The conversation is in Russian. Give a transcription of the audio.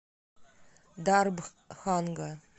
дарбханга